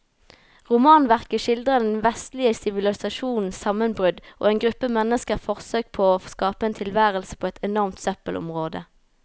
Romanverket skildrer den vestlige sivilisasjons sammenbrudd og en gruppe menneskers forsøk på å skape en tilværelse på et enormt søppelområde.